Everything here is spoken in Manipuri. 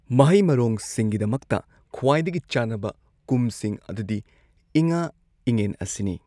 ꯃꯍꯩ ꯃꯔꯣꯡꯁꯤꯡꯒꯤꯗꯃꯛꯇ ꯈ꯭ꯋꯥꯏꯗꯒꯤ ꯆꯥꯟꯅꯕ ꯀꯨꯝꯁꯤꯡ ꯑꯗꯨꯗꯤ ꯏꯉꯥ ꯏꯉꯦꯟ ꯑꯁꯤꯅꯤ꯫